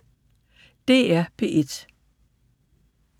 DR P1